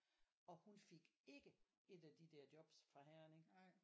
Og hun fik ikke et af de der jobs fra Herning